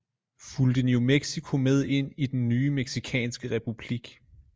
Fulgte new mexico med ind i den nye mexicanske republik